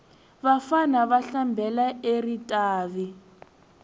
vafana ava hlambela eritavi